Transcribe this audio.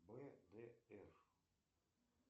бдр